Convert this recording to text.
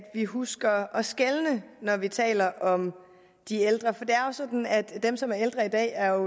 vi husker at skelne når vi taler om de ældre for det er jo sådan at dem som er ældre i dag er